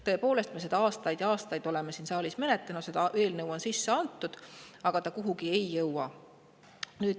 Tõepoolest, me oleme seda aastaid ja aastaid siin saalis menetlenud, see on sisse antud, aga ta ei jõua kuhugi.